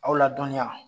Aw ladɔnniya